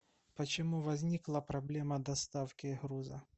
почему возникла проблема доставки груза